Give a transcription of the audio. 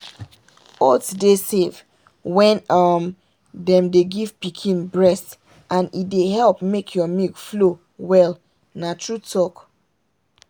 oats dey safe when um them dey give pikin breast and e dey help make your milk flow well na true talk.